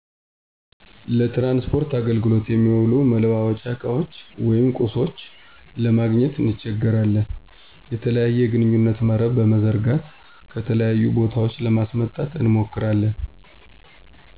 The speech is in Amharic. ለትራንስፖርት አገልግሎት የሚውሉ መላዋወጫ እቃዎች ወይም ቁሶች ለማግኘት እንቸገራለን። የተለያየ የግንኙነት መረብን በመዘርጋት ከተለያዩ ቦታዎች ለማስመጣት እንሞክራለን።